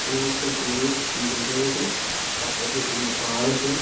কোনো একটা টুরিস্ট জায়গা বটে পাশে দু তিনটে পাহাড় আছে।